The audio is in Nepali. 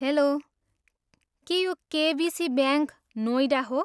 हेल्लो, के यो केबिसी ब्याङ्क, नोइडा हो?